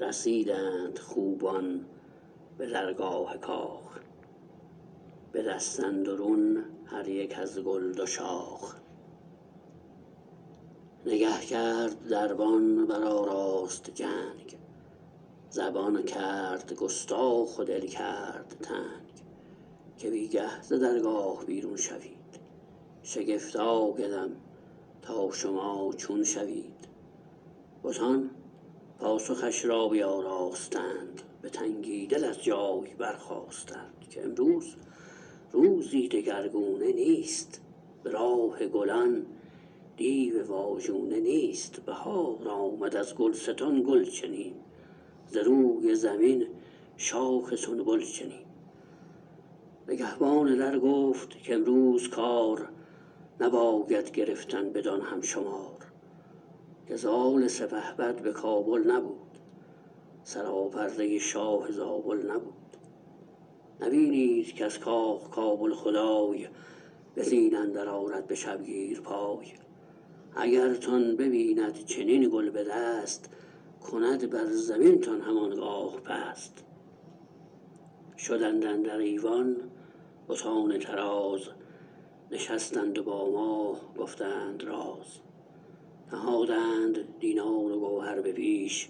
رسیدند خوبان به درگاه کاخ به دست اندرون هر یک از گل دو شاخ نگه کرد دربان برآراست جنگ زبان کرد گستاخ و دل کرد تنگ که بی گه ز درگاه بیرون شوید شگفت آیدم تا شما چون شوید بتان پاسخش را بیاراستند به تنگی دل از جای برخاستند که امروز روزی دگر گونه نیست به راه گلان دیو واژونه نیست بهار آمد ازگلستان گل چنیم ز روی زمین شاخ سنبل چنیم نگهبان در گفت کامروز کار نباید گرفتن بدان هم شمار که زال سپهبد بکابل نبود سراپرده شاه زابل نبود نبینید کز کاخ کابل خدای به زین اندر آرد بشبگیر پای اگرتان ببیند چنین گل بدست کند بر زمین تان هم آنگاه پست شدند اندر ایوان بتان طراز نشستند و با ماه گفتند راز نهادند دینار و گوهر به پیش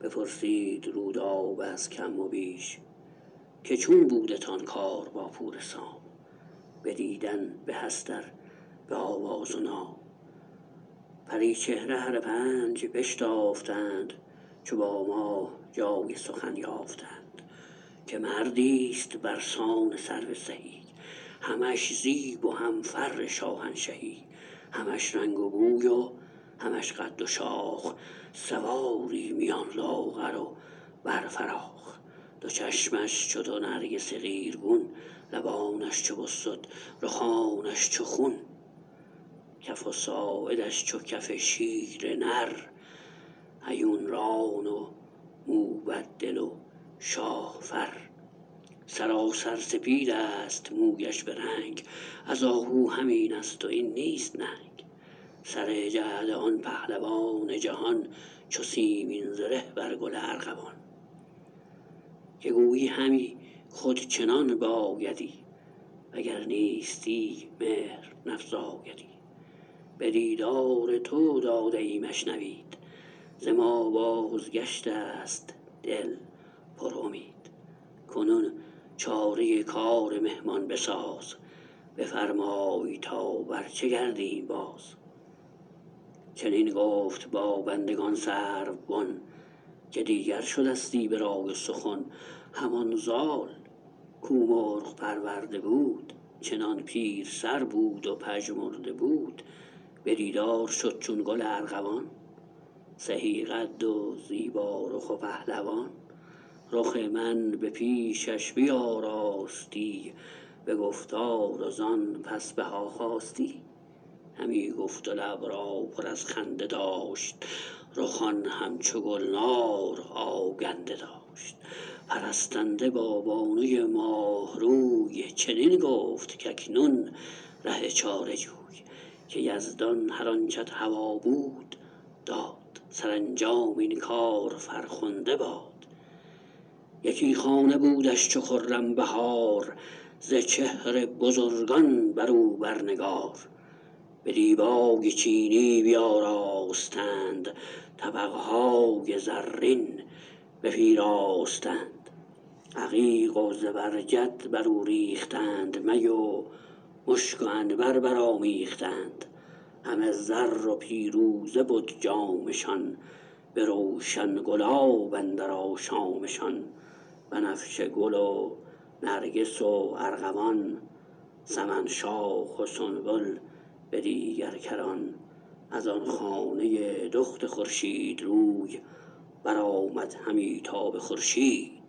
بپرسید رودابه از کم و بیش که چون بودتان کار با پور سام بدیدن بهست ار به آواز و نام پری چهره هر پنج بشتافتند چو با ماه جای سخن یافتند که مردیست برسان سرو سهی همش زیب و هم فر شاهنشهی همش رنگ و بوی و همش قد و شاخ سواری میان لاغر و بر فراخ دو چشمش چو دو نرگس قیرگون لبانش چو بسد رخانش چو خون کف و ساعدش چو کف شیر نر هیون ران و موبد دل و شاه فر سراسر سپیدست مویش برنگ از آهو همین است و این نیست ننگ سر جعد آن پهلوان جهان چو سیمین زره بر گل ارغوان که گویی همی خود چنان بایدی وگر نیستی مهر نفزایدی به دیدار تو داده ایمش نوید ز ما بازگشتست دل پرامید کنون چاره کار مهمان بساز بفرمای تا بر چه گردیم باز چنین گفت با بندگان سرو بن که دیگر شدستی به رای و سخن همان زال کو مرغ پرورده بود چنان پیر سر بود و پژمرده بود به دیدار شد چون گل ارغوان سهی قد و زیبا رخ و پهلوان رخ من به پیشش بیاراستی به گفتار و زان پس بهاخواستی همی گفت و لب را پر از خنده داشت رخان هم چو گلنار آگنده داشت پرستنده با بانوی ماه روی چنین گفت کاکنون ره چاره جوی که یزدان هر آنچت هوا بود داد سرانجام این کار فرخنده باد یکی خانه بودش چو خرم بهار ز چهر بزرگان برو بر نگار به دیبای چینی بیاراستند طبق های زرین بپیراستند عقیق و زبرجد برو ریختند می و مشک و عنبر برآمیختند همه زر و پیروزه بد جامشان به روشن گلاب اندر آشامشان بنفشه گل و نرگس و ارغوان سمن شاخ و سنبل به دیگر کران از آن خانه دخت خورشید روی برآمد همی تا به خورشید بوی